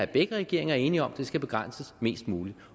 begge regeringer er enige om at det skal begrænses mest muligt